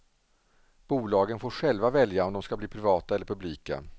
Bolagen får själva välja om de ska bli privata eller publika.